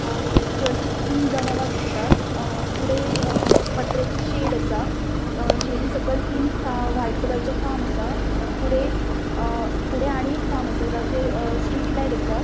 अ चर्चिक तीन जनेला दिसतात अ फुड़े अ पत्र्याचे शेड असा शेड़ी सकल तीन का व्हाइट कलरचे असा फुड़े अ फुड़े आणि एक असा जेचेर स्ट्रीट लाइट असा.